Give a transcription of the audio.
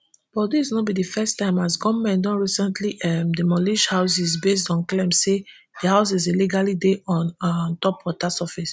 but dis no be di first time as goment don recently um demolish houses based on claims say di houses illegally dey on um top water surface